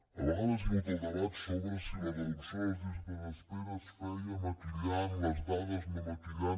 a vegades hi ha hagut el debat sobre si la reducció de les llistes d’espera es feia maquillant les dades no maquillant